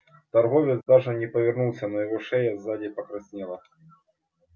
торговец даже не повернулся но его шея сзади покраснела